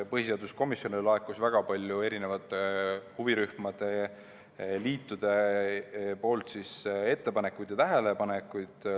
Põhiseaduskomisjonile oli laekunud väga palju huvirühmade liitude ettepanekuid ja tähelepanekuid.